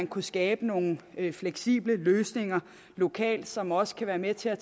kunne skabe nogle fleksible løsninger lokalt som også kan være med til at